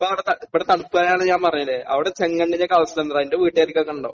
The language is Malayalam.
ഇപ്പോൾ അവിടെ ത ഇവിടെ തണുപ്പാണെന്ന് ഞാൻ പറഞ്ഞില്ലേ. അവിടെ ചെങ്കണ്ണിന്റെയൊക്കെ അവസ്ഥയെന്താടാ? എന്റെ വീട്ടുകാർക്കൊക്കെ ഉണ്ടോ?